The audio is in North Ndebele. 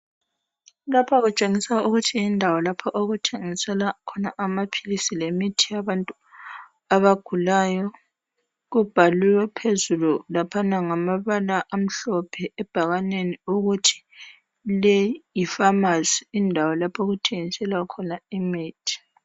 Lapha kutshengiswa ukuthi yindawo lapho okuthengiselwa khona amaphilisi lemithi yabantu abagulayo Kubhaliwe phezulu laphana ngamabala amhlophe ebhakaneni ukuthi le yi pharmacy indawo lapho okuthengiselwa khona imithi